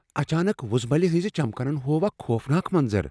اچانک، وٗزمٕلہِ ہنزِ چمكنن ہوو اكھ خوفناک منظر ۔